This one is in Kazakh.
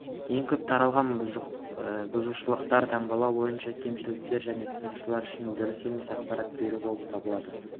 ең көп таралған бұзушылықтар таңбалау бойынша кемшіліктер және тұтынушылар үшін дұрыс емес ақпарат беру болып табылады